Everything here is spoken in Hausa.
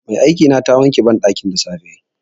Mai aikina ta wanke banɗakin da safe.